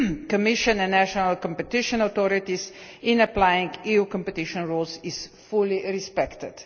Commission and national competition authorities in applying EU competition rules is fully respected.